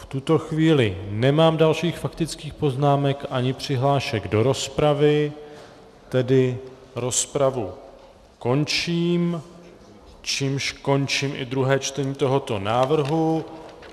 V tuto chvíli nemám dalších faktických poznámek ani přihlášek do rozpravy, tedy rozpravu končím, čímž končím i druhé čtení tohoto návrhu.